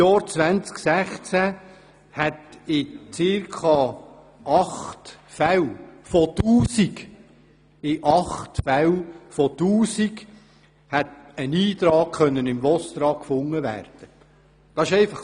Im Jahr 2016 hätte in circa acht von tausend Fällen ein Eintrag im VOSTRA gefunden werden können.